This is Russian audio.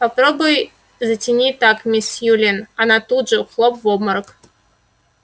попробуй затяни так мисс сьюлин она тут же хлоп в обморок